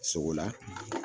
Sokola